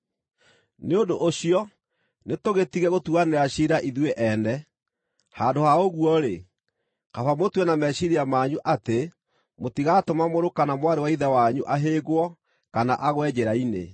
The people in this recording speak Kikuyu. Nĩ ũndũ ũcio nĩtũgĩtige gũtuanĩra ciira ithuĩ ene. Handũ ha ũguo-rĩ, kaba mũtue na meciiria manyu atĩ mũtigatũma mũrũ kana mwarĩ wa ithe wanyu ahĩngwo kana agwe njĩra-inĩ.